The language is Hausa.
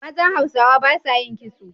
Mazan Hausawa ba sa yin kitso.